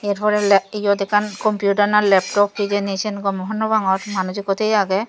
er pore iyot ekkan computer na laptop hijeni sayn gome hornopangor manuj ikko tay age.